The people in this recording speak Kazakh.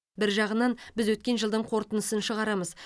бір жағынан біз өткен жылдың қорытындысын шығарамыз